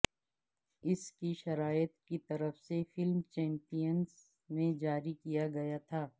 اس کی شرائط کی طرف سے فلم چیمپئنز میں جاری کیا گیا تھا